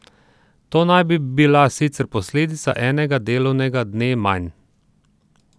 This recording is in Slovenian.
To naj bi bila sicer posledica enega delovnega dne manj.